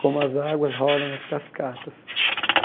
como as águas rolam nas cascatas.